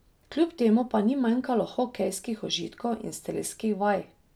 Kljub temu pa ni manjkalo hokejskih užitkov in strelskih vaj.